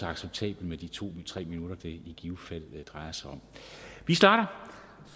acceptabelt med de to tre minutter det i givet fald drejer sig om vi starter